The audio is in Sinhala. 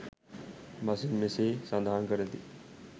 බසින් මෙසේ සඳහන් කරති.